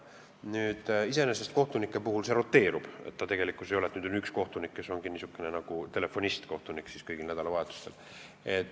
Kohtunike puhul see asi roteerub, ei ole nii, et on üks niisugune nagu telefonist-kohtunik kõigil nädalavahetustel.